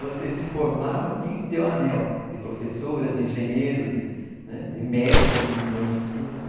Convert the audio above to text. Você se formava, tinha que ter o anel de professora, de engenheiro, de de médico, como foram meus tios, né?